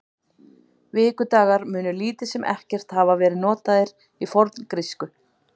Vikudagar munu lítið sem ekkert hafa verið notaðir í forngrísku.